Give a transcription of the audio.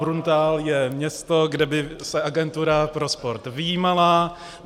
Bruntál je město, kde by se agentura pro sport vyjímala.